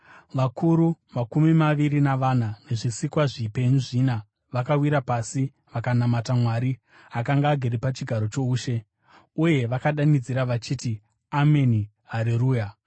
Vakuru makumi maviri navana nezvisikwa zvipenyu zvina vakawira pasi vakanamata Mwari, akanga agere pachigaro choushe. Uye vakadanidzira vachiti: “Ameni, Hareruya!”